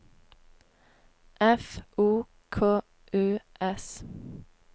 F O K U S